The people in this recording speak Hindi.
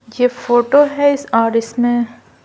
यह फोटो है और इसमें--